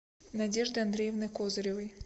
надежды андреевны козыревой